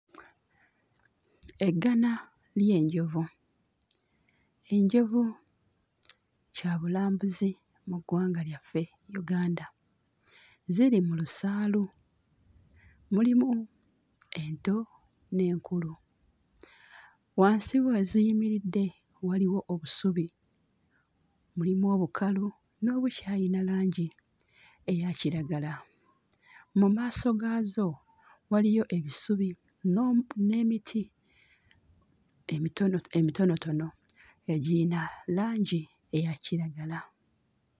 Eggana ly'enjovu, enjovu kyabulambuzi mu ggwanga lyaffe Uganda, ziri mu lusaalu, mulimu ento n'enkulu. Wansi we ziyimiridde waliwo obusubi; mulimu obukalu n'obukyayina langi eya kiragala. Mu maaso gaazo waliyo ebisubi n'omu... n'emiti emitono emitonotono egiyina langi eya kiragala.